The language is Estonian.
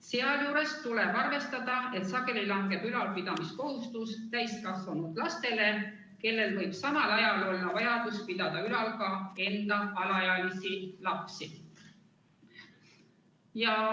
Sealjuures tuleb arvestada, et sageli langeb ülalpidamiskohustus täiskasvanud lastele, kellel võib samal ajal olla vajadus pidada ülal ka enda alaealisi lapsi.